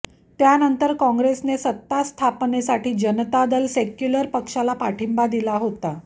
त्यानंतर काँग्रेसने सत्तास्थापनेसाठी जनता दल सेक्युलर पक्षाला पाठिंबा दिला होता